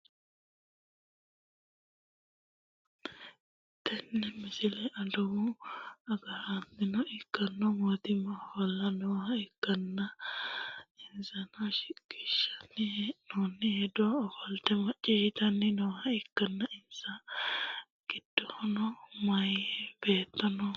tenne basera adawu agaraano ikkitino mannooti ofolte nooha ikkanna, insano shiqqinshanni hee'noonni hedo ofolte macciishshitanni nooha ikkanna, insa giddono meyaa beetto no.